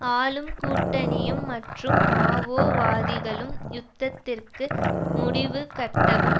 ஆளும் கூட்டணியும் மற்றும் மாவோவாதிகளும் யுத்தத்திற்கு முடிவுகட்டவும்